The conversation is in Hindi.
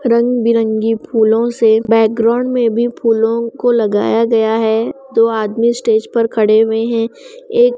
रंग बिरंगी फूलों से बैकग्राउंड में भी फूलों को लगाया गया है दो आदमी स्टेज पर खड़े हुए हैं एक--